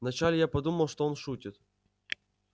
вначале я подумал что он шутит